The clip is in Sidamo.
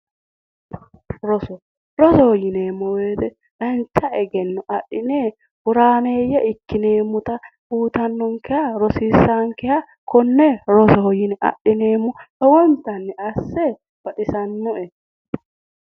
Roso, rosoho yineemmo woyiite dancha egennobadhine horaameeyye ikkineemmota uuyitannonkeha rosiisaankeha konne rosoho yine adhineemmo lowontanni asse baxisannoe.